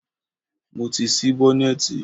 Mo ti ṣí bọ́nẹ̀tì.